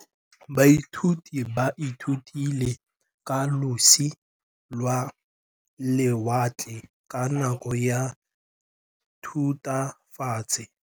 Baithuti ba ithutile ka losi lwa lewatle ka nako ya Thutafatshe.